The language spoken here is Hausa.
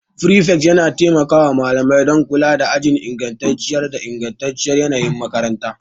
Prefect yana taimaka wa malamai don kula da ajin inganci da ingantacciyar yanayin makaranta.